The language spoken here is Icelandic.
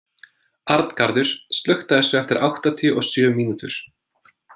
Arngarður, slökktu á þessu eftir áttatíu og sjö mínútur.